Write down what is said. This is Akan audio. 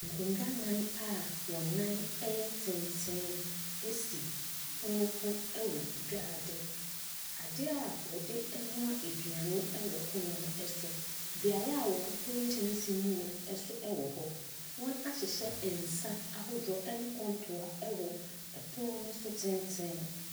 Nkonnwa nnan a wɔn nan ɛyɛ tenten ɛsi pono ho ɛwɔ gyaade adeɛ a wɔdenoa aduane ɛwɔ pono no so beaeɛ wɔhohoro nkyɛnsee mu nso ɛwɔ hɔ wɔn ahyehyɛ nsa ahodoɔ ɛne kɔntoa ɛwɔ ɛpono no so tenten.